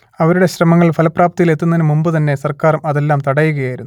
അവരുടെ ശ്രമങ്ങൾ ഫലപ്രാപ്തിയിലെത്തുന്നതിനു മുമ്പു തന്നെ സർക്കാർ അതെല്ലാം തടയുകയായിരുന്നു